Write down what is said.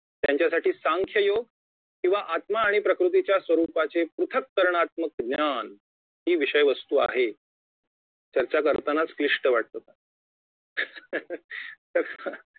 त्यांच्यासाठी संख्य योग किंवा आत्मा आणि प्रवृत्तीच्या स्वरुपाचे पृथकरणात्मक ज्ञान ही विषय वस्तू आहे चर्चा करतानाच क्लिष्ठ वाटतं